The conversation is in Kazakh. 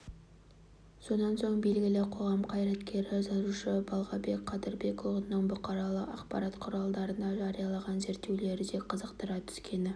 сонан соң белгілі қоғам қайраткері жазушы балғабек қыдырбекұлының бұқаралық ақпарат құралдарында жарияланған зерттеулері де қызықтыра түскені